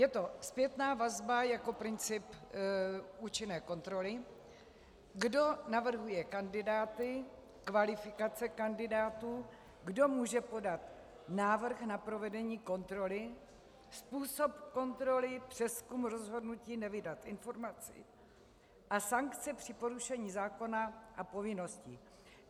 Je to zpětná vazba jako princip účinné kontroly, kdo navrhuje kandidáty, kvalifikace kandidátů, kdo může podat návrh na provedení kontroly, způsob kontroly, přezkum rozhodnutí nevydat informaci a sankce při porušení zákona a povinností.